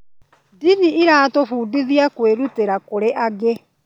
Ndini ĩratũbundithia kwĩrutĩra kũrĩ angĩ.